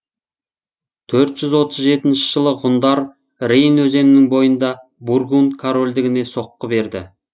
төрт жүз отыз жетінші жылы ғұндар рейн өзенінің бойында бургун корольдігіне соққы берді